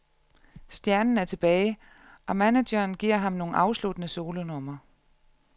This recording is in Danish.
Stjernen er tilbage, og manageren giver ham nogle afsluttende solonumre.